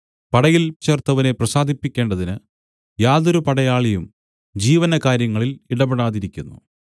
പടയിൽ ചേർത്തവനെ പ്രസാദിപ്പിക്കേണ്ടതിന് യാതൊരു പടയാളിയും ജീവനകാര്യങ്ങളിൽ ഇടപെടാതിരിക്കുന്നു